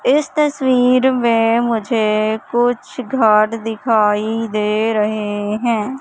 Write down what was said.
इस तस्वीर में मुझे कुछ घर दिखाई दे रहे हैं।